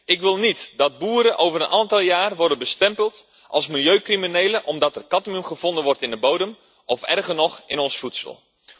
Ik wil niet dat boeren over een aantal jaar worden bestempeld als milieucriminelen, omdat er cadmium gevonden wordt in de bodem, of erger nog, in ons voedsel.